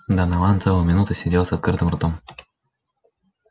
донован целую минуту сидел с открытым ртом